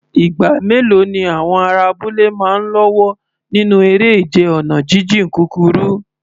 Ìgbà mélòó ni àwọn ará abúlé máa ń lọ́wọ́ nínú eré ìje ọ̀nà jíjìn kúkúrú?